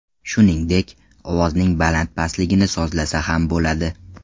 Shuningdek, ovozning baland-pastligini sozlasa ham bo‘ladi.